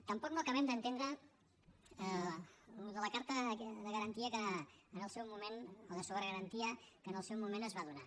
tampoc no acabem d’entendre això de la carta de garantia o de sobregarantia que en el seu moment es va donar